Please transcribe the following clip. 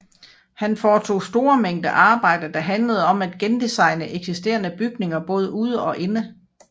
Han foretog store mængde arbejde der handlede om at gendesigne eksisterende bygninger både ude og inde